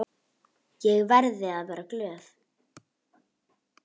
Ég verði að vera glöð.